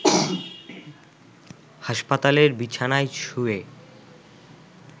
হাসপাতালের বিছানায় শুয়ে